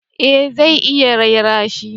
Eh zai iya raira shi